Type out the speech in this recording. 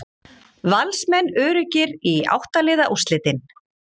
Valsmenn öruggir í átta liða úrslitin